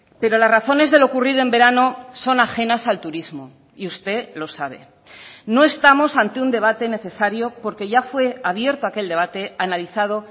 pero las razones de lo ocurrido en verano son ajenas al turismo y usted lo sabe no estamos ante un debate necesario porque ya fue abierto aquel debate analizado